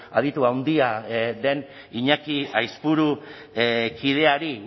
aditu handia den iñaki aizpuru kideari